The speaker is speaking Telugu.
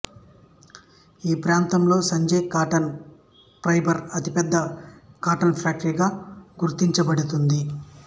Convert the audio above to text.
ఈ ప్రాంతంలో సంజయ్ కాటన్ ఫైబర్ అతిపెద్ద కాటన్ ఫ్యాక్టరీగా గుర్తినబడుతుంది